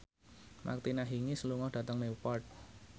Martina Hingis lunga dhateng Newport